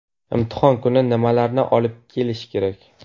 Imtihon kuni nimalarni olib kelish kerak?